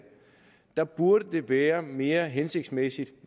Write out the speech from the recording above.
der burde det være mere hensigtsmæssigt